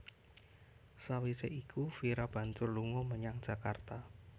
Sawisé iku Vira banjur lunga menyang Jakarta